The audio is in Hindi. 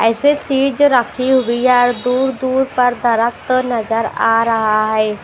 ऐसी चीज रखी हुई और दूर-दूर पर दरख़्त नजर आ रहा है।